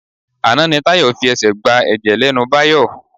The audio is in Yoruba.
Àná ni Tayọ fi ẹ̀ṣẹ́ gba ẹ̀jẹ̀ lẹ́nu Báyọ̀.